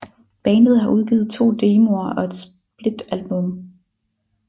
Bandet har udgivet to demoer og et splitalbum